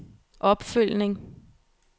opfølgning